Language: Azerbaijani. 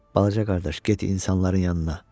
Balaca qardaş, get insanların yanına.